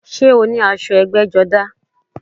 Sé o ní aṣọ ẹgbẹ́jọdá?